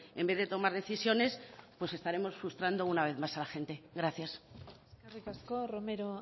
en vez de tomar decisiones pues estaremos frustrando una vez más a la gente gracias eskerrik asko romero